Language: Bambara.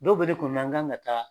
Dɔw be ne kunɔna n kan ka taa